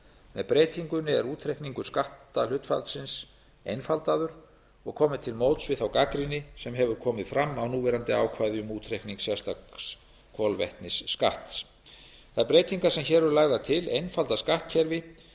með breytingunni er útreikningur skatthlutfallsins einfaldaður og komið til móts við þá gagnrýni sem hefur komið fram á núverandi ákvæði um útreikning sérstaks kolvetnisskatts þær breytingar sem hér eru lagðar til einfalda skattkerfi